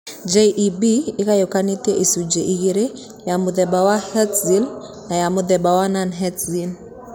JEB ĩgayũkanĩte icunjĩ igĩrĩ: ya mũthemba wa Herlitz na ya mũthemba wa Non Herlitz.